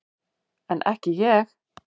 En ekki ég.